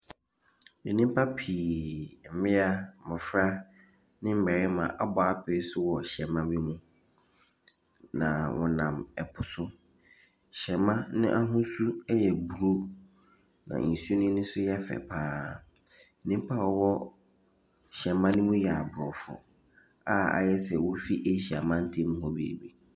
Nnipa pii, mmea, mmofra ne mmarima abɔ apee so wɔ hyɛma ne mu. Na wɔnam ɛpo so. Hyɛma no ahosuo ɛyɛ blu. Na nsu no ani so yɛfɛ paa. Nnipa a wɔwɔ hyɛma ne mu yɛ abrɔfo a ayɛsɛ wofi asia mantamu hɔ baabi.